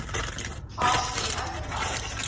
class d amplifiers